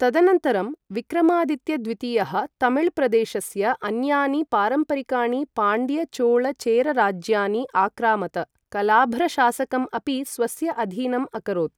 तदनन्तरं विक्रमादित्य द्वितीयः तमिऴ प्रदेशस्य अन्यानि पारम्परिकाणि पाण्ड्य चोल चेर राज्यानि आक्रामत, कलाभ्र शासकम् अपि स्वस्य अधीनम् अकरोत्।